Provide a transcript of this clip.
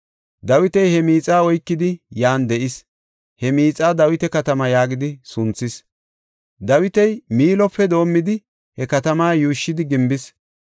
Dawiti he miixaa oykidi, yan de7is; he miixaa Dawita katamaa yaagidi sunthis. Dawiti Miilope doomidi he katamaa yuushshidi gimbis.